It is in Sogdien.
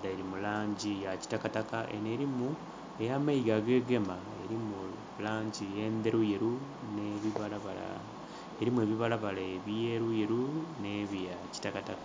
dhiri mu langi ya kitakataka eno erimu eyamayiga agegema, erimu langi endheruyeru nebibalabala erimu ebibalabala ebyeruyeru ne bya kitakataka.